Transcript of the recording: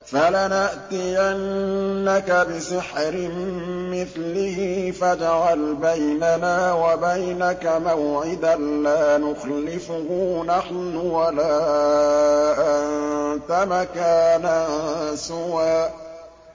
فَلَنَأْتِيَنَّكَ بِسِحْرٍ مِّثْلِهِ فَاجْعَلْ بَيْنَنَا وَبَيْنَكَ مَوْعِدًا لَّا نُخْلِفُهُ نَحْنُ وَلَا أَنتَ مَكَانًا سُوًى